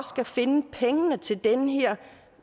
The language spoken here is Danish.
skal finde pengene til den her